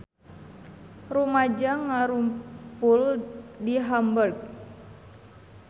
Rumaja ngarumpul di Hamburg